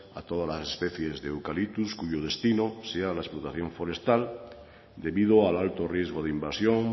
a todas las especies de eucalyptus cuyo destino sea la explotación forestal debido al alto riesgo de invasión